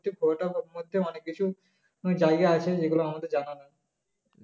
গোয়াটার ম~মধ্যে অনেককিছু জায়গা আছে যেগুলো আমাদের জানা নয়